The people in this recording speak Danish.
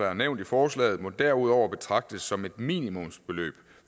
er nævnt i forslaget må derudover betragtes som et minimumsbeløb